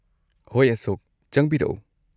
ꯍꯣꯏ ꯑꯁꯣꯛ, ꯆꯪꯕꯤꯔꯛꯎ꯫